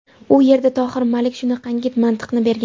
U yerda Tohir Malik shunaqangi mantiqni bergan.